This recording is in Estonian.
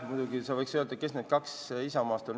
Muidugi sa võiks öelda, kes need kaks inimest Isamaast on.